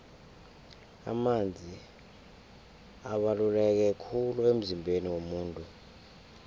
amanzi abaluleke khulu emzimbeni womuntu